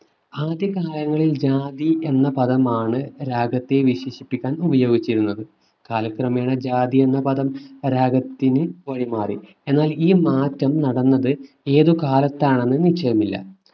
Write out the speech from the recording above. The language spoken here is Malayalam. ആദ്യ കാലങ്ങളിൽ ജാതി എന്ന പദമാണ് രാഗത്തെ വിശേഷിപ്പിക്കാൻ ഉപയോഗിച്ചിരുന്നത് കാലക്രമേണ ജാതി എന്ന പദം രാഗത്തിനു വഴി മാറി. എന്നാൽ ഈ മാറ്റം നടന്നത് ഏതു കാലത്താണെന്ന് നിശ്ചയമില്ല.